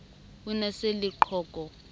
o ne a se leqhoko